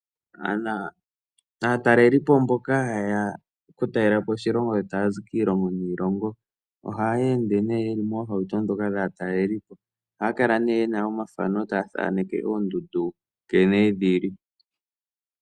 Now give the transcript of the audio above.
Aatalelipo mboka haya oku talelapo oshilongo shetu taya zi kiilongo niilongo oha ye ende nee yeli moohauto dhoka dhaatalelipo. Oha kala nee yena omafano taya thaneke oondundu nkene dhili.